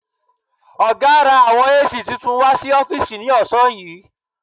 Ọ̀gá ra àwọn AC titun wà sí ọ́fìsì ní ọ̀sán yìí.